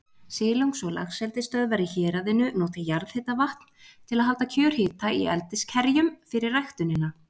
Silungs- og laxeldisstöðvar í héraðinu nota jarðhitavatn til að halda kjörhita í eldiskerjum fyrir ræktunina.